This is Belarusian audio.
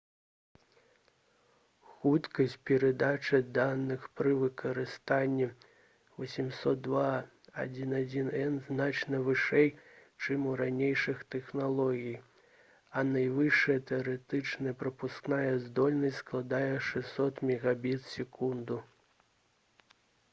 хуткасць перадачы даных пры выкарыстанні 802.11n значна вышэй чым у ранейшых тэхналогій а найвышэйшая тэарэтычная прапускная здольнасць складае 600 мбіт/с